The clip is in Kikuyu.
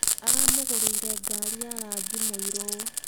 Aramũgũrĩire ngari ya rangi mũirũ.